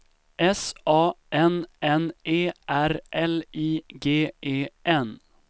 S A N N E R L I G E N